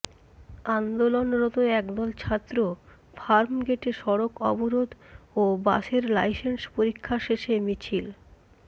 আন্দোলনরত একদল ছাত্র ফার্মগেটে সড়ক অবরোধ ও বাসের লাইসেন্স পরীক্ষা শেষে মিছিল